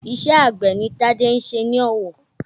Iṣẹ́ àgbẹ̀ ni Tade ń ṣe ní Ọ̀wọ̀